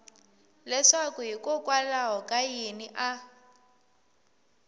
leswaku hikokwalaho ka yini a